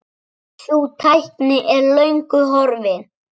Sú tækni er löngu horfin.